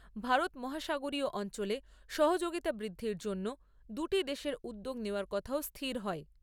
ভারত মহাসাগরীয় অঞ্চলে সহযোগিতা বৃদ্ধির জন্য দুটি দেশের উদ্যোগ নেওয়ার কথাও স্থির হয়।